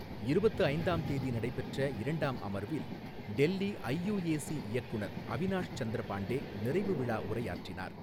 இருபத்து ஐந்தாம் தேதி நடைபெற்ற இரண்டாம் அமர்வில், டெல்லி ஐயூஏசி இயக்குநர் அவினாஷ் சந்திர பாண்டே நிறைவுவிழா உரையாற்றினார்.